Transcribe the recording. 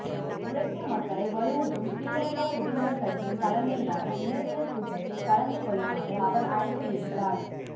உழைக்கும் மக்களை வலுவூட்டும் ஸ்ரீலங்கா சுதந்திரக்கட்சியின் தலைமையிலான மே தின கூட்டத்தில் கலந்து கொள்ளுமாறும் அவர் அழைப்பு விடுத்தார